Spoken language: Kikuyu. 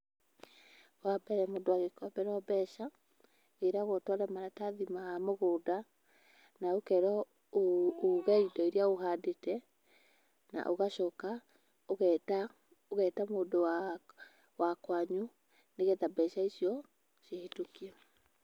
Wa mbere, mũndũ agĩkomberwo mbeca wĩragwo ũtware maratathi ma mũgũnda na ũkerwo ũge indo irĩa ũhandĩte, na ũgacoka ũgeta mũndũ wa kwanyu, nĩgetha mbeca icio cihĩtũkio.